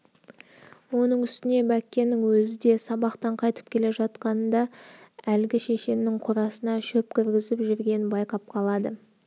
оның үстіне бәккенің өзі де сабақтан қайтып келе жатқанында әлгі шешеннің қорасына шөп кіргізіп жүргенін байқап қалады